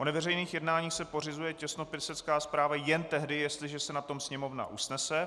O neveřejných jednáních se pořizuje těsnopisecká zpráva jen tehdy, jestliže se na tom Sněmovna usnese;